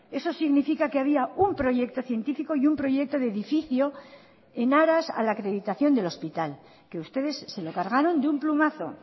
eso significa que había un proyecto científico y un proyecto de edificio en aras a la acreditación del hospital que ustedes se lo cargaron de un plumazo